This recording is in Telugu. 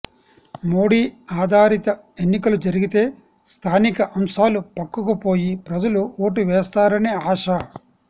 మోడీ ఆధారిత ఎన్నికలు జరిగితే స్థానిక అంశాలు పక్కకుపోయి ప్రజలు ఓటు వేస్తారనే ఆశ